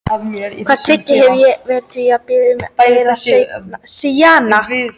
Hvaða tryggingu hef ég fyrir því, að þú biðjir ekki um meira seinna?